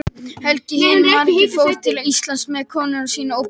Helgi hinn magri fór til Íslands með konu sína og börn.